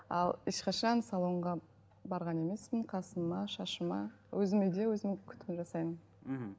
ал ешқашан салонға барған емеспін қасыма шашыма өзіме де өзім күтім жасаймын мхм